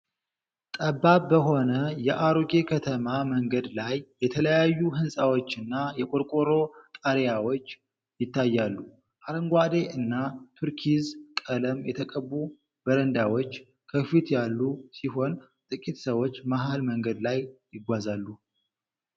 ጠባብ በሆነ የአሮጌ ከተማ መንገድ ላይ የተለያዩ ሕንጻዎችና የቆርቆሮ ጣሪያዎች ይታያሉ። አረንጓዴ እና ቱርኪዝ ቀለም የተቀቡ በረንዳዎች ከፊት ያሉ ሲሆን፣ ጥቂት ሰዎች መሃል መንገድ ላይ ይጓዛሉ።